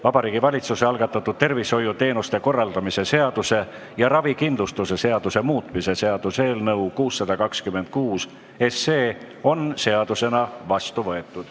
Vabariigi Valitsuse algatatud tervishoiuteenuste korraldamise seaduse ja ravikindlustuse seaduse muutmise seaduse eelnõu 626 on seadusena vastu võetud.